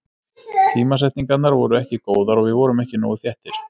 Tímasetningarnar voru ekki góðar og við vorum ekki nógu þéttir.